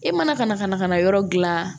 E mana ka na ka na ka na yɔrɔ gilan